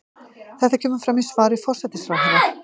Þetta kemur fram í svari forsætisráðherra